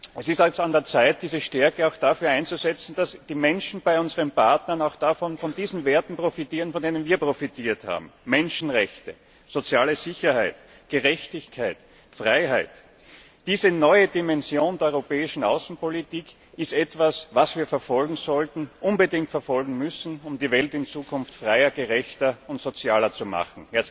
Es ist an der Zeit, diese Stärke auch dafür einzusetzen, dass die Menschen, die in unseren Partnerländern leben, auch von den Werten profitieren, von denen wir profitiert haben Menschenrechte, soziale Sicherheit, Gerechtigkeit, Freiheit. Diese neue Dimension der europäischen Außenpolitik ist etwas, was wir verfolgen sollten, unbedingt verfolgen müssen, um die Welt in Zukunft freier, gerechter und sozialer zu machen.